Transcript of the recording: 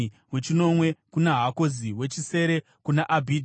wechinomwe kuna Hakozi, wechisere kuna Abhija,